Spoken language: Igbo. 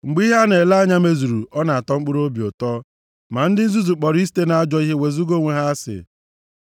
Mgbe ihe a na-ele anya mezuru ọ na-atọ mkpụrụobi ụtọ, ma ndị nzuzu kpọrọ isite nʼajọ ihe wezuga onwe ha asị.